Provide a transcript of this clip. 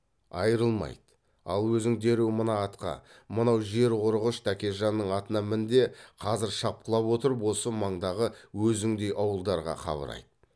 айрылмайды ал өзің дереу мына атқа мынау жер қорығыш тәкежанның атына мін де қазір шапқылап отырып осы маңдағы өзіңдей ауылдарға хабар айт